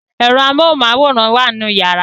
Ẹ̀rọ amóhunmáwòrán wà nínú yàrá